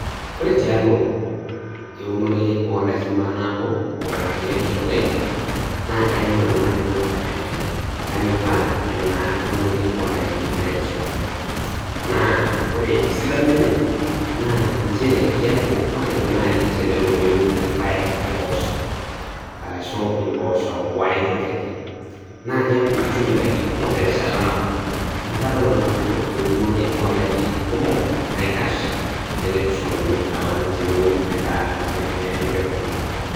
Ore tialo eunore oondaiki maanabo o teneitushuli naa kayiou nanu najo kanyoraa enaa unore oo ndaiki naitushuli. Naa ore esidano enye naa nchere, keaku naaji tenelo niun irpaek o mpoosho araushu impoosho o ai toki ake, naa keaku itum indaiki kumok terishata nabo. Neaku kadol nanu ajo eunore oo ndaiki kumok naikash teneitushuluni alaang' tiniun endaa empeko nabo